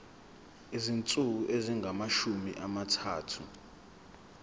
izinsuku ezingamashumi amathathu